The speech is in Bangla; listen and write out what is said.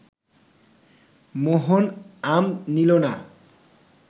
মোহন আম নিল না